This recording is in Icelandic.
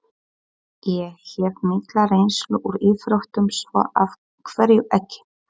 Ég hef mikla reynslu úr íþróttum, svo af hverju ekki?